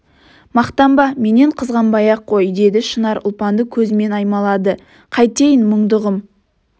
мақтанба менен қызғанбай-ақ қой деді шынар ұлпанды көзімен аймалады қайтейін мұңдығым